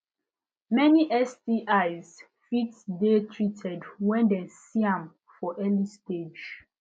many stis fit de treated when dem see am for early stage